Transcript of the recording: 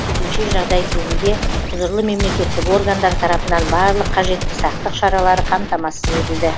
төтенше жағдай кезінде құзырлы мемлекеттік органдар тарапынан барлық қажетті сақтық шаралары қамтамасыз етілді